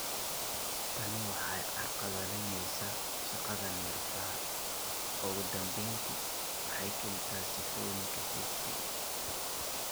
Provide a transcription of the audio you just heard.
Tani waxay carqaladaynaysaa shaqada neerfaha, ugu dambeyntii waxay keentaa sifooyinka HD.